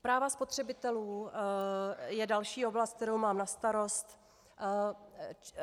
Práva spotřebitelů je další oblast, kterou mám na starost.